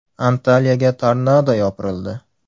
Antaliyaga tornado yopirildi .